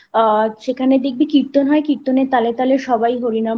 আ সেখানে দেখবি কীর্তন হয় কীর্তনের তালে তালে সবাই হরি